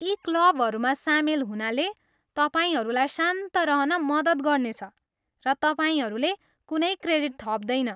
यी क्लबहरूमा सामेल हुनाले तपाईँहरूलाई शान्त रहन मद्दत गर्नेछ, र तपाईँहरूले कुनै क्रेडिट थप्दैन।